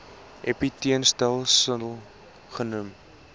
epiteelletsel sil genoem